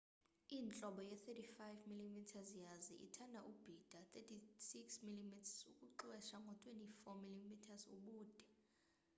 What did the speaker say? intlobo ye-35 mm yazi ithanda ubhida 36 mm ukuxwesa ngo-24 mm ubude